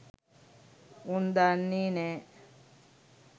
උන් දන්නේ නෑ